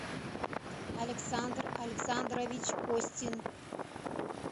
александр александрович костин